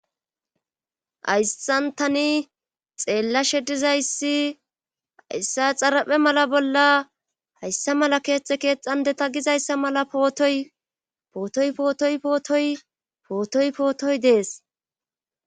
Aysxantani xeellashe dizayssi ayssa xaraphe mala bolla hayssa mala keeththe keexxandeta gizayssa mala pootoy pootoy pootoy pootoy pootoy pootoy dees.